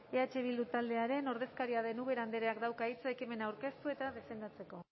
eh bildu taldearen ordezkaria den ubera andreak dauka hitza ekimena aurkeztu eta defendatzeko